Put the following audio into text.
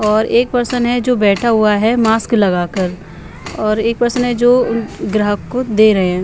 और एक पर्सन है जो बैठा हुआ है मास्क लगाकर और एक पर्सन है जो ग्राहक को दे रहे हैं।